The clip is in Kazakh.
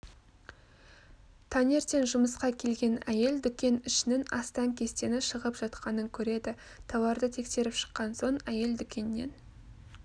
таңертең жұмысқа келген әйел дүкен ішінің астаң-кестеңі шығып жатқанын көреді тауарды тексеріп шыққан соң әйел дүкеннен